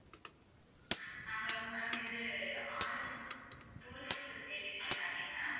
அஹ் hello ma'am இது R V tourist agency தானே ma'am